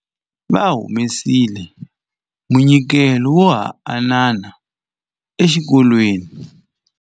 Va humesile munyikelo wo hambanana exikolweni.